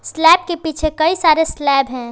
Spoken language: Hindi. स्लैब के पीछे कई सारे स्लैब हैं।